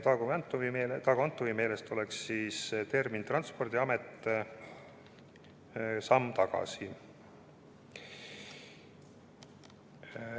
" Dago Antovi meelest oleks nimetus "Transpordiamet" samm tagasi.